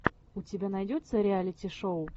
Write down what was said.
у тебя найдется реалити шоу